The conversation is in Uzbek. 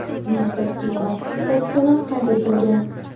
Bir nechta kichik baxtsiz hodisalar qayd etilgan.